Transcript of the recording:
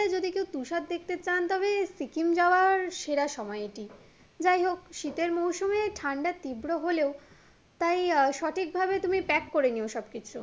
যদি কেউ তুষার দেখতে চান তবে সিকিম যাওয়ার সেরা সময় এটি, যাই হোক শীতের মুরসুমে ঠান্ডা তীব্র হলেও তাই আহ সঠিক ভাবে তুমি প্যাক করে নিয়ো সবকিছু